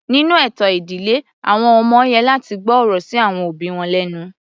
Nínú ètò ìdílé àwọn ọmọ yẹ láti gbọ́ ọ̀rọ̀ sí àwọn òbí wọn lẹ́nu.